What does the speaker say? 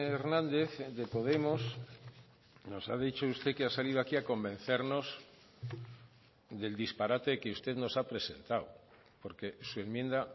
hernández de podemos nos ha dicho usted que ha salido aquí a convencernos del disparate que usted nos ha presentado porque su enmienda